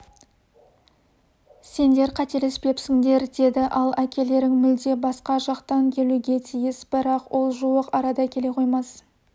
сендер қателесіпсіңдер деді ал әкелерің мүлде басқа жақтан келуге тиіс бірақ ол жуық арада келе қоймас